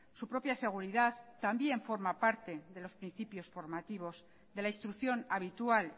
su propia seguridad también forma parte de los principios formativos de la instrucción habitual